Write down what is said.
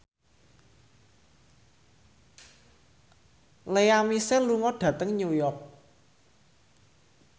Lea Michele lunga dhateng New York